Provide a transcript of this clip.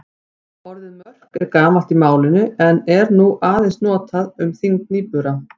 Orðið mörk er gamalt í málinu en er nú aðeins notað um þyngd nýbura.